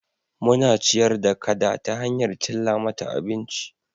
Muna ciyar da kada ta hanyar cilla mata abinci